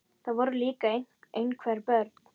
Það voru líka einhver börn.